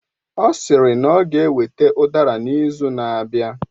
Ọ sịrị na ọ ga eweta udara n'izu na-abịa